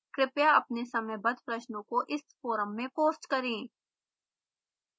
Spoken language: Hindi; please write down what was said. कृपया अपने समयबद्ध प्रश्नों को इस फोरम में पोस्ट करें